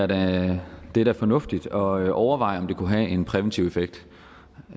da er fornuftigt at overveje om det kunne have en præventiv effekt